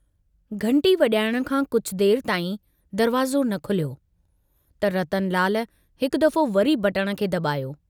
घंटी वजाइण खां कुछ देर ताईं दरवाज़ो न खुलियो, त रतनलाल हिकु दफ़ो वरी बटण खे दबायो।